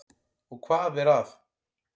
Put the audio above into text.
Og hvað er að?